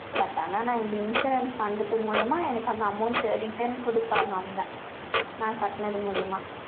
but ஆனா, நான், இந்த insurance பண்றது மூலியமா, எனக்கு, அந்த amount, return கொடுப்பாங்க, அவங்க. நான் கட்டுனது மூலியமா.